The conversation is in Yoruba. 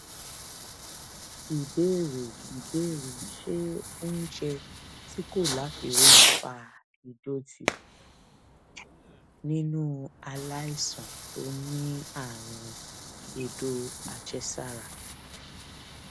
ìbéèrè ìbéèrè ṣé oúnjẹ tí kò láfiwé ń fa ìdòtí nínú aláìsàn tó ní àrùn èdò àjẹsára